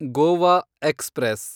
Goa express